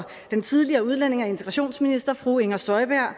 den tidligere udlændinge og integrationsminister fru inger støjberg